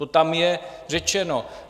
To tam je řečeno.